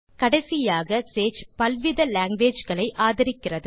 கடைசியாக சேஜ் பல்வித languageகளை ஆதரிக்கிறது